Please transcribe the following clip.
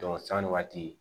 sanni waati